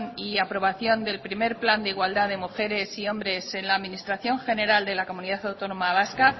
y aprobación del primer plan de igualdad de mujeres y hombres en la administración general de la comunidad autónoma vasca